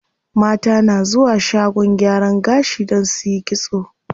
Mata na zuwa shagon gyaran gashi don suyi kitso.